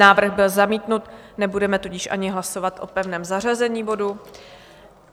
Návrh byl zamítnut, nebudeme tudíž ani hlasovat o pevném zařazení bodu.